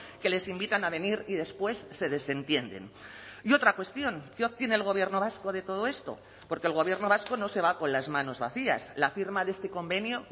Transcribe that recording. que les invitan a venir y después se desentienden y otra cuestión qué obtiene el gobierno vasco de todo esto porque el gobierno vasco no se va con las manos vacías la firma de este convenio